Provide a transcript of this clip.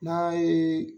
N'a ye